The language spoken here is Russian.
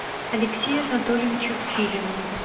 алексею анатольевичу филину